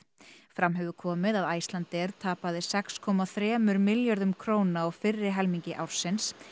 fram hefur komið að Icelandair tapaði sex komma þremur milljörðum króna á fyrri helmingi ársins